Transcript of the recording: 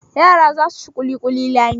Yara za su ci ƙulƙulin Lami.